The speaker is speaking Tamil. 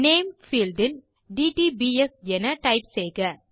நேம் பீல்ட் இல்dtbs என டைப் செய்க